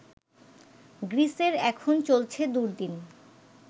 গ্রীসের এখন চলছে দুর্দিন